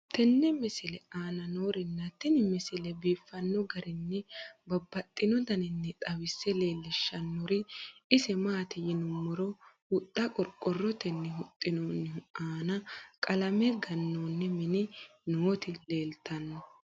tenne misile aana noorina tini misile biiffanno garinni babaxxinno daniinni xawisse leelishanori isi maati yinummoro huxxa qoriqoorrottenni huxxinnonnihu nna qalame ganoonni minni nootti leelittanno.